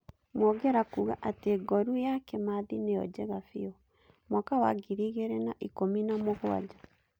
Mwongera kuuga atĩ ngoru ya Kĩmathi nĩo njega biũ. Mwaka wa ngiri igĩrĩ na ikũmi na mũgwanja.